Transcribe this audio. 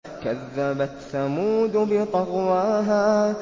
كَذَّبَتْ ثَمُودُ بِطَغْوَاهَا